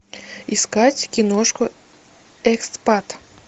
искать киношку экспат